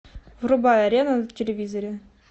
врубай арена на телевизоре